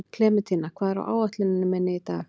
Klementína, hvað er á áætluninni minni í dag?